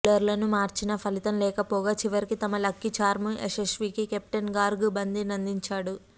బౌలర్లను మార్చినా ఫలితం లేకపోగా చివరికి తమ లక్కీ చార్మ్ యశస్వీకి కెప్టెన్ గార్గ్ బంతినందించాడు